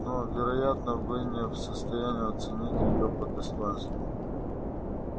но вероятно вы не в состоянии оценить её по достоинству